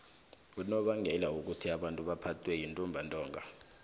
unobangela wokobana abantu baphathwe yintumbantonga